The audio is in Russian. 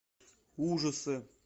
ужасы